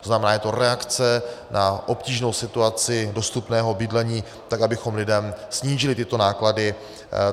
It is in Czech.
To znamená, je to reakce na obtížnou situaci dostupného bydlení tak, abychom lidem snížili tyto náklady.